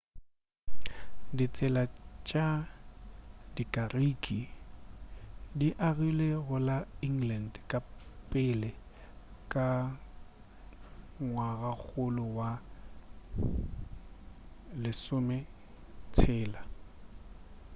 ditsela tša dikariki di agilwe go la england ka pele ka ngwagakgolo wa bo 16